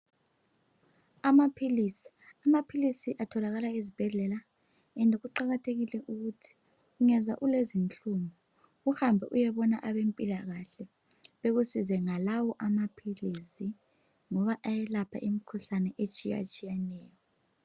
Amaphilisi , amaphilisi atholakala ezibhedlela and kuqakathekile ukuthi ungezwa ulenzinhlungu uhambe uyebona abezempila kahle bekusize ngalawo amaphilisi ngoba ayelapha imikhuhlane etshiya tshiyaneyo.